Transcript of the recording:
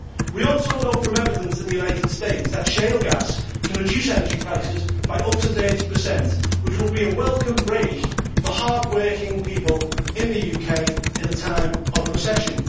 We also know from evidence in the United States that shale gas can reduce energy prices by up to 30, which would be a welcome break for hard working people in the UK in a time of recession.